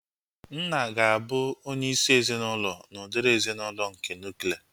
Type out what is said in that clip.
Nna ga-abụ onye isi ezinaụlọ n'udiri ezinaụlọ nke nuklia